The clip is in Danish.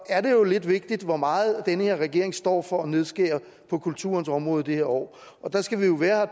er det jo lidt vigtigt hvor meget den her regering står for at nedskære på kulturens område i det her år der skal vi jo være